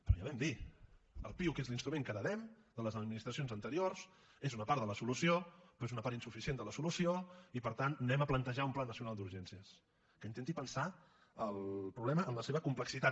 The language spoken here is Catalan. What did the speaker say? però ja ho vam dir el piuc és l’instrument que heretem de les administracions anteriors és una part de la solució però és una part insuficient de la solució i per tant anem a plantejar un pla nacional d’urgències que intenti pensar el problema en la seva complexitat